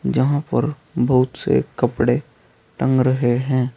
जहां पर बहुत से कपड़े टंग रहे हैं।